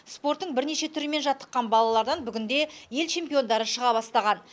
спорттың бірнеше түрімен жаттыққан балалардан бүгінде ел чемпиондары шыға бастаған